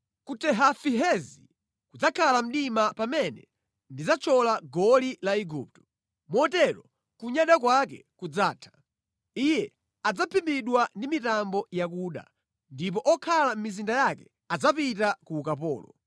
Ku Tehafinehezi kudzakhala mdima pamene ndidzathyola goli la Igupto; motero kunyada kwake kudzatha. Iye adzaphimbidwa ndi mitambo yakuda, ndipo okhala mʼmizinda yake adzapita ku ukapolo.